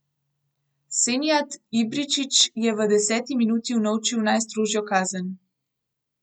Senijad Ibričić je v deseti minuti unovčil najstrožjo kazen.